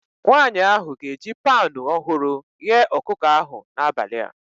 Nwanyị ahụ ga-eji panu ọhụrụ ghee ọkụkọ ahụ n'abalị a